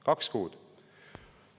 Kaks kuud!